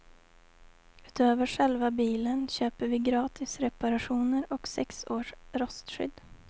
Utöver själva bilen köper vi gratis reparationer och sex års rostskydd.